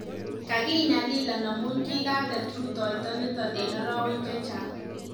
kakinyalilan amuun kikateet rutoyto niton en araweek chechang